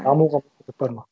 дамуға бар ма